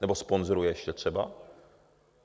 Nebo sponzoruje ještě třeba?